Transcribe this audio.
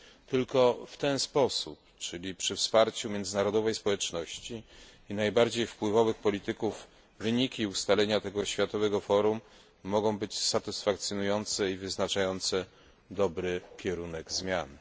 Tylko w ten sposób, czyli przy wsparciu międzynarodowej społeczności i najbardziej wpływowych polityków, wyniki i ustalenia tego światowego forum mogą być satysfakcjonujące i wyznaczające dobry kierunek zmian.